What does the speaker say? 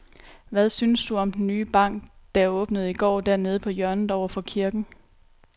Hvad synes du om den nye bank, der åbnede i går dernede på hjørnet over for kirken?